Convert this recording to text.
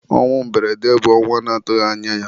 ọnwụ mberede bụ ọnwụ a na-atụghị anya ya.